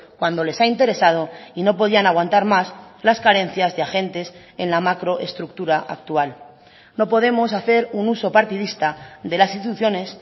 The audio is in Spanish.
cuando les ha interesado y no podían aguantar más las carencias de agentes en la macroestructura actual no podemos hacer un uso partidista de las instituciones